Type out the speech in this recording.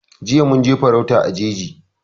Jiya mun je farauta a jeji